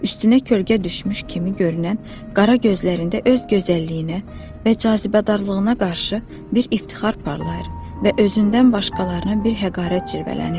Üstünə kölgə düşmüş kimi görünən qara gözlərində öz gözəlliyinə və cazibədarlığına qarşı bir iftixar parlayır və özündən başqalarına bir həqarət cırvələnirdi.